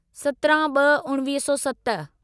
सत्रहं ॿ उणिवीह सौ सत